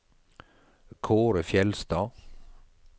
Kaare Fjeldstad